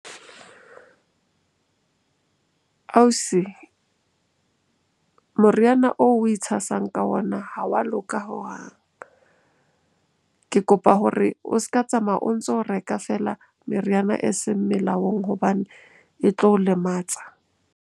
Ausi, moriana oo o itshasang ka ona ha wa loka hohang. Ke kopa hore o s'ka tsamaya o ntso reka feela meriana eseng melaong hobane e tlo o lematsa.